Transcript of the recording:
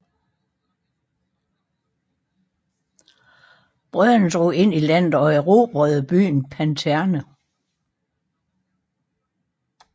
Brødrene drog ind i landet og erbrede byen Paternó